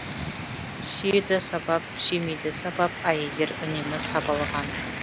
сүйеді сабап сүймейді сабап әйелдер үнемі сабалыған